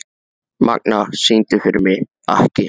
Magna, syngdu fyrir mig „Ekki“.